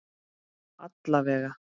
Alla vega.